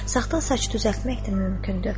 Saxta saç düzəltmək də mümkündür.